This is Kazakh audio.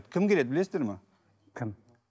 кім келеді білесіздер ме кім